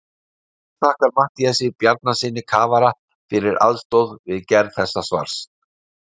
Höfundur þakkar Matthíasi Bjarnasyni kafara fyrir aðstoð við gerð þessa svars.